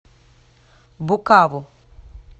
букаву